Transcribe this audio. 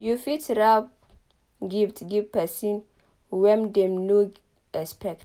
You fit wrap gift give person wen dem no expect